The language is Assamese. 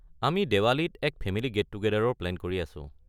আমি দিৱালীত এক ফেমিলি গেট-টুগেডাৰৰ প্লেন কৰি আছো।